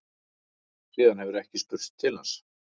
Síðan hefur ekki spurst til hans